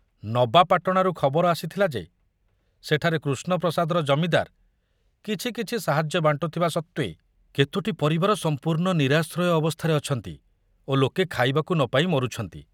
ନବାପାଟଣାରୁ ଖବର ଆସିଥିଲା ଯେ ସେଠାରେ କୃଷ୍ଣପ୍ରସାଦର ଜମିଦାର କିଛି କିଛି ସାହାଯ୍ୟ ବାଣ୍ଟୁଥିବା ସତ୍ତ୍ବେ କେତୋଟି ପରିବାର ସମ୍ପୂର୍ଣ୍ଣ ନିରାଶ୍ରୟ ଅବସ୍ଥାରେ ଅଛନ୍ତି ଓ ଲୋକେ ଖାଇବାକୁ ନ ପାଇ ମରୁଛନ୍ତି।